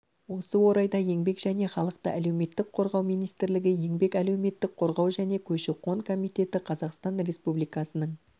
осы орайда еңбек және халықты әлеуметтік қорғау министрлігі еңбек әлеуметтік қорғау және көші-қон комитеті қазақстан республикасының